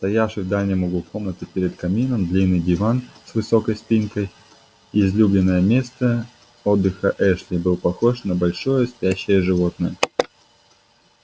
стоявший в дальнем углу комнаты перед камином длинный диван с высокой спинкой излюбленное место отдыха эшли был похож на большое спящее животное